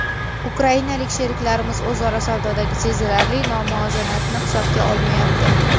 Ukrainalik sheriklarimiz o‘zaro savdodagi sezilarli nomuvozanatni hisobga olmayapti.